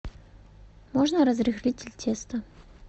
можно разрыхлитель теста